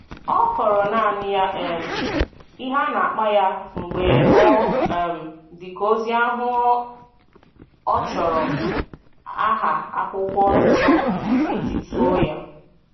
Ọ kọọrọ naanị ya um ihe na-akpa ya mgbe ọ um dị ka ozi ahụ ọ chọrọ aha akwụkwọ Nsọ ijituo ya